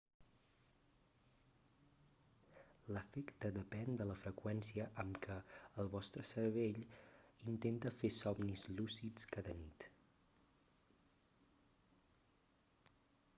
l'efecte depèn de la freqüència amb què el vostre cervell intenta fer somnis lúcids cada nit